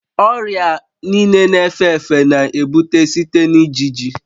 Ọrịa niile na-efe efe na-ebute site na ijiji